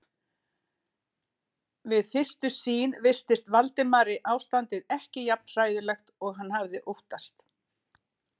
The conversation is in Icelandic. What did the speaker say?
Við fyrstu sýn virtist Valdimari ástandið ekki jafn hræðilegt og hann hafði óttast.